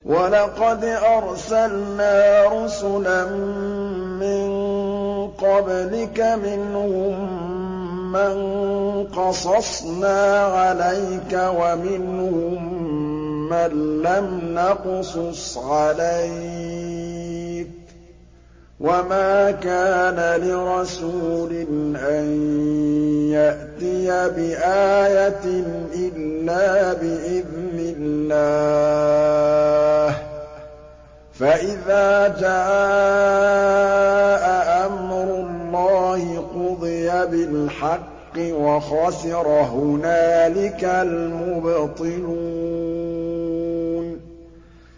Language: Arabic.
وَلَقَدْ أَرْسَلْنَا رُسُلًا مِّن قَبْلِكَ مِنْهُم مَّن قَصَصْنَا عَلَيْكَ وَمِنْهُم مَّن لَّمْ نَقْصُصْ عَلَيْكَ ۗ وَمَا كَانَ لِرَسُولٍ أَن يَأْتِيَ بِآيَةٍ إِلَّا بِإِذْنِ اللَّهِ ۚ فَإِذَا جَاءَ أَمْرُ اللَّهِ قُضِيَ بِالْحَقِّ وَخَسِرَ هُنَالِكَ الْمُبْطِلُونَ